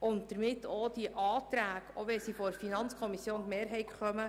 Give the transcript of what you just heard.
Das bedeutet, die entsprechenden Anträge abzulehnen, auch wenn sie von der FiKo-Mehrheit stammen.